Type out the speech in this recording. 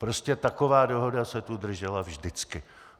Prostě taková dohoda se tu držela vždycky.